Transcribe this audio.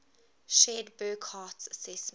shared burckhardt's assessment